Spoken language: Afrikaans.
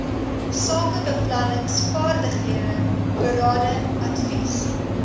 sakebeplanningsvaardighede berading advies